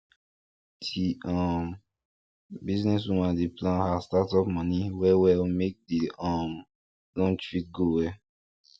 di um business woman dey plan her startup money well well make the um launch fit go well